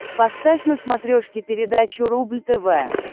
поставь на смотрешке передачу рубль тв